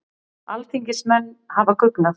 Alþingismenn hafa guggnað